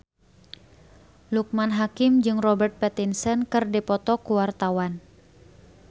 Loekman Hakim jeung Robert Pattinson keur dipoto ku wartawan